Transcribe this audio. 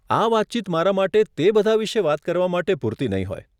આ વાતચીત મારા માટે તે બધા વિશે વાત કરવા માટે પૂરતી નહીં હોય.